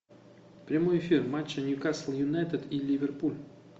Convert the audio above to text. прямой эфир матча ньюкасл юнайтед и ливерпуль